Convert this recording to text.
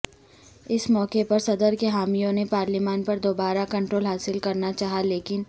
اس موقع پر صدر کے حامیوں نے پارلیمان پر دوبارہ کنٹرول حاصل کرنا چاہا لیکن